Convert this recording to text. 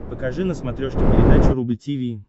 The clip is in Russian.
покажи на смотрешке передачу рубль ти ви